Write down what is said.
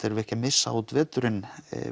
erum ekki að missa út veturinn